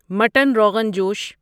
mutton rogan جوش